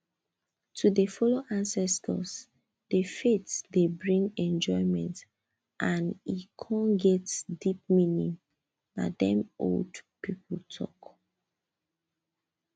to dey follow ancestors the faith dey bring enjoyment and e con get deep meaning na dem old people talk